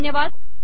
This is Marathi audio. धन्यवाद